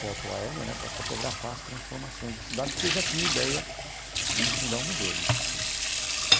foto aérea né, para fotografar as transformações da cidade, porque eu já tinha ideia de fundar um museu né.